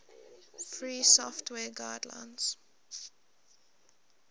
free software guidelines